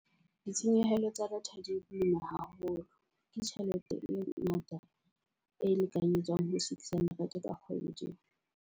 Ditshenyehelo tsa data di boima haholo. Ke tjhelete e ngata e lekanyetswang ho six hundred ka kgwedi.